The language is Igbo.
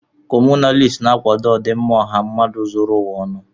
Kọmunist na-akwado ọdịmma ọha mmadụ zuru ụwa ọnụ.